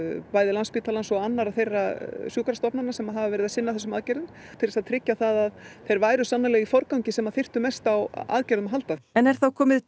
Landspítalans og annarra þeirra sem hafa verið að sinna þessum aðgerðum til þess að tryggja það að þeir væru sannanlega í forgangi sem þyrftu mest á aðgerðum að halda en er þá komið